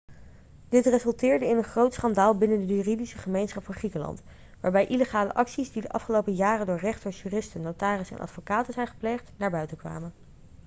dit resulteerde in een groot schandaal binnen de juridische gemeenschap van griekenland waarbij illegale acties die de afgelopen jaren door rechters juristen notarissen en advocaten zijn gepleegd naar buiten kwamen